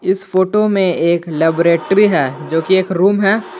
इस फोटो में एक लेबोरेट्री है जोकि एक रूम है।